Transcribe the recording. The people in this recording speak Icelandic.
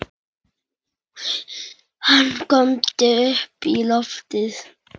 Hann góndi upp í loftið!